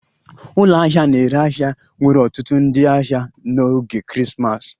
Ụlọ ahịa na-ere ahịa nwere ọtụtụ ndị ahịa n'oge Krismas